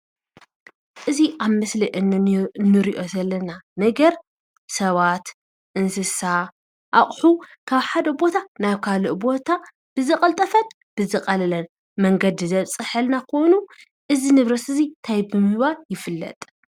እዚ ኣብ ምስሊ እንን እንሪኦ ዘለና ነገር ሰባት፣ እንስሳ፣ ኣቑሑ ካብ ሓደ ቦታ ናብ ካልእ ቦታ ብዝቐልጠፈን ብዝቐለለን መንገዲ ዘብፅሐልና ኾይኑ እዚ ንብረት እዚ እንታይ ብምባል ይፍለጥ?